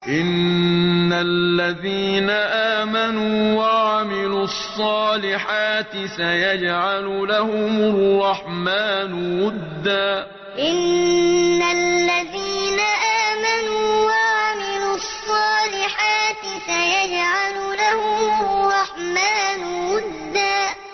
إِنَّ الَّذِينَ آمَنُوا وَعَمِلُوا الصَّالِحَاتِ سَيَجْعَلُ لَهُمُ الرَّحْمَٰنُ وُدًّا إِنَّ الَّذِينَ آمَنُوا وَعَمِلُوا الصَّالِحَاتِ سَيَجْعَلُ لَهُمُ الرَّحْمَٰنُ وُدًّا